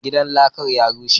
Gidan lakan ya rushe,